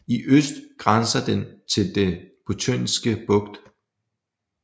I øst grænser den til Den Botniske Bugt